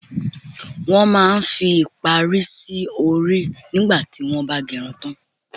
Wọn máa ń fi ìparí sì orí nígbà tí wọn ba gerun tan.